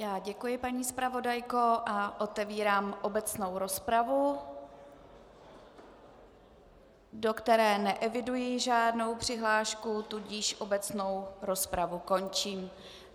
Já děkuji, paní zpravodajko, a otevírám obecnou rozpravu, do které neeviduji žádnou přihlášku, tudíž obecnou rozpravu končím.